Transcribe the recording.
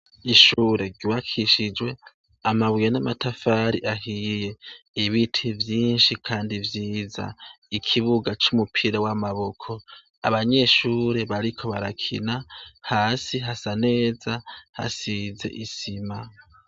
Ishure ryubakishijwe amabuye n'amatafari ahiye, ibiti vyinshi kandi vyiza, ikibuga c'umupira w'amaboko, abanyeshure bariko barakina hasi hasa neza hasize isima.